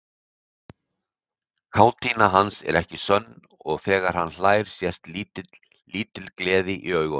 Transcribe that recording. Kátína hans er ekki sönn og þegar hann hlær sést lítil gleði í augunum.